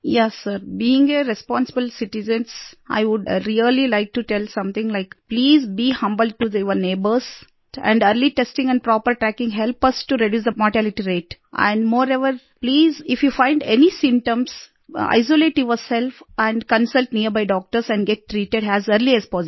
yes sir being a responsible citizen I would really like to tell something like please be humble to your neighbours and early testing and proper tracking help us to reduce the mortality rate and moreover please if you find any symptoms isolate yourself and consult nearby doctors and get treated as early as possible